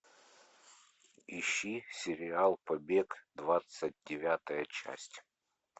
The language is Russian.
ищи сериал побег двадцать девятая часть